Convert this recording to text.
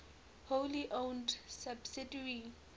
wholly owned subsidiary